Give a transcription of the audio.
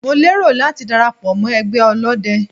Mo lérò láti dara pọ̀ mọ́ ẹgbẹ́ ọlọ́dẹ.